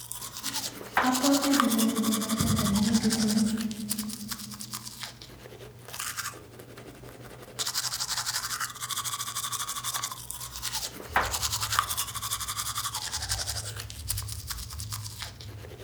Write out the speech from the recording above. Abwati ale [huduma centre] nemi Kisumu